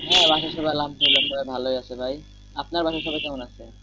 হ্যাঁ বাসার সবাই আলহামদুলিল্লাহ সবাই ভালো আছে ভাই আপনার বাসার সবাই কেমন আছে?